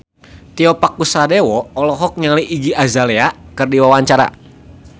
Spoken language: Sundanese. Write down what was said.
Tio Pakusadewo olohok ningali Iggy Azalea keur diwawancara